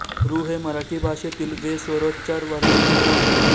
ॠ हे मराठी भाषेतील वे स्वरोच्चार वर्ण चिन्ह आहे